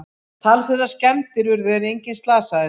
Talsverðar skemmdir urðu en enginn slasaðist